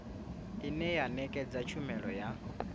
ine ya ṋekedza tshumelo ya